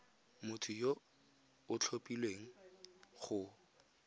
motho yo o tlhophilweng go